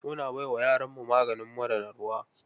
Muna bai wa yaranmu maganin mura na ruwa.